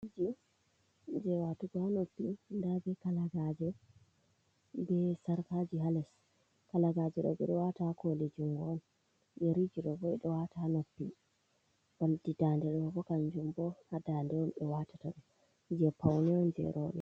Kujeji watugo ha noppi nda be kalagaje, be sarkaji ha les kalagaje ɗo ɓeɗo wata ha kole jungo on, yeriji ɗo bo ɓe ɗo wata ha noppi, oldi dande ɗo bo kanjum bo ha dande on ɓe watata, do je paune je roɓe.